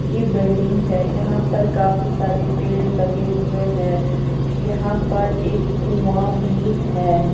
की बिल्डिंग है यहां पर काफी सारे पेड़ लगे हुए हैं यहां पर एक कुआं भी है।